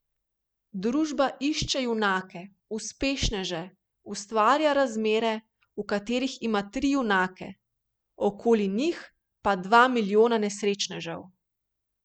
Družba išče junake, uspešneže, ustvarja razmere, v katerih ima tri junake, okoli njih pa dva milijona nesrečnežev.